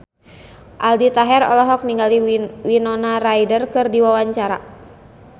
Aldi Taher olohok ningali Winona Ryder keur diwawancara